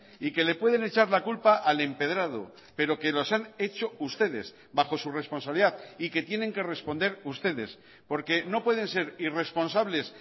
y que le pueden echar la culpa al empedrado pero que los han hecho ustedes bajo su responsabilidad y que tienen que responder ustedes porque no pueden ser irresponsables